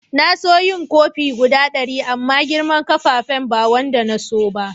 Na so yin kofi guda dari amma girman fafen ba wanda na tso ba.